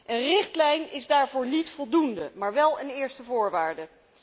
Een richtlijn is daarvoor niet voldoende, maar wel een eerste voorwaarde.